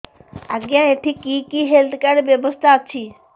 ଆଜ୍ଞା ଏଠି କି କି ହେଲ୍ଥ କାର୍ଡ ବ୍ୟବସ୍ଥା ଅଛି